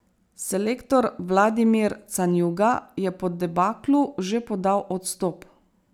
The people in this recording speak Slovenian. Selektor Vladimir Canjuga je po debaklu že podal odstop.